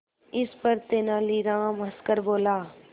इस पर तेनालीराम हंसकर बोला